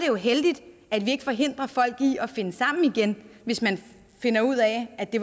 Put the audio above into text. jo heldigt at vi ikke forhindrer folk i at finde sammen igen hvis man finder ud af at det